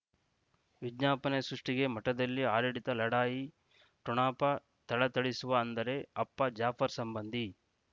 ವಿಜ್ಞಾಪನೆ ಸೃಷ್ಟಿಗೆ ಮಠದಲ್ಲಿ ಆಡಳಿತ ಲಢಾಯಿ ಠೊಣಪ ಥಳಥಳಿಸುವ ಅಂದರೆ ಅಪ್ಪ ಜಾಫರ್ ಸಂಬಂಧಿ